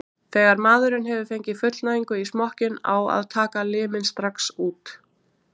Þegar maðurinn hefur fengið fullnægingu í smokkinn á að taka liminn strax út.